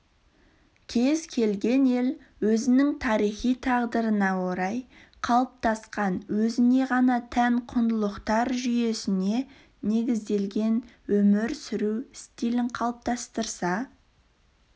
кез келген ел өзінің тарихи тағдырына орай қалыптасқан өзіне ғана тән құндылықтар жүйесіне негізделген өмір сүру стилін қалыптастырса